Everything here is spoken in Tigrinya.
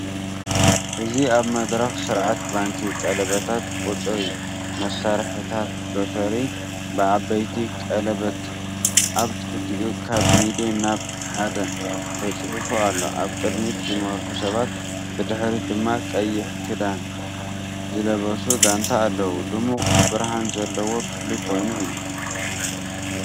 እዚ ኣብ መድረኽ ስርዓት ባንክ ቀለበታት ቁጽሪ መሳርሒታት ሎተሪ ብዓበይቲ ቀለቤት፡ ኣብ ትሕቲኡ ካብ ሚልዮን ናብ ሓደ ተጻሒፉ ኣሎ። ኣብ ቅድሚት ዝመርሑ ሰባት፡ ብድሕሪት ድማ ቀይሕ ክዳን ዝለበሱ ጋንታ ኣለው። ድሙቕ ብርሃን ዘለዎ ክፍሊ ኮይኑ እዩ።